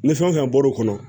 Ni fɛn o fɛn bɔr'o kɔnɔ